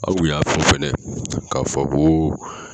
Aw y'a fɔ fɛnɛ k'a fɔ koo.